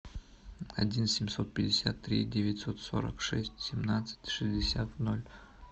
один семьсот пятьдесят три девятьсот сорок шесть семнадцать шестьдесят ноль